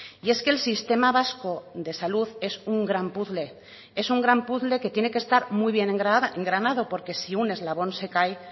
y es que el sistema vasco de salud es un gran puzle es un gran puzle que tiene que estar muy bien engranado porque si un eslabón se cae